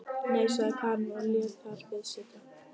Nei, sagði Karen og lét þar við sitja.